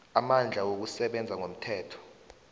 amandla wokusebenza ngomthetho